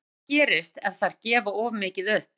En hvað gerist ef þær gefa of mikið upp?